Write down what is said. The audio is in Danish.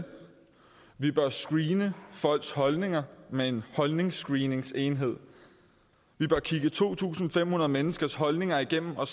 vi bør screene folks holdninger med en holdningsscreeningsenhed at kigge to tusind fem hundrede menneskers holdninger igennem for at